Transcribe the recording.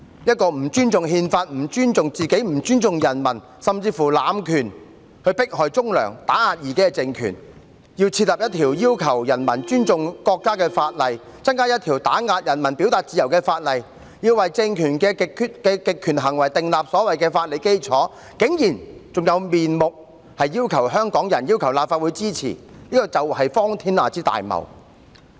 一個不尊重憲法，不尊重自己，不尊重人民，甚至濫權迫害忠良、打壓異己的政權，要制定一項要求人民尊重國家的法例，增加一項打壓人民表達自由的法例，要為政權的極權行為訂立所謂的法理基礎，竟然還有面目要求香港人和立法會支持，這是荒天下之大謬。